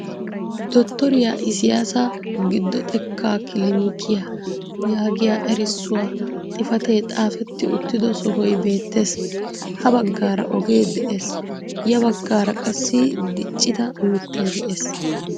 Dottoriiyaa isiyaasa giddo xekkaaa kilinikiyaa yaagiyaa erissuwaa xifaatee xaafeti uttido sohoy beettees. ha baggaara ogee de'ee. ya baggaara qassi diiccida miittay de'ees.